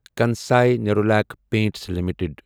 Kansai Nerolac paints limited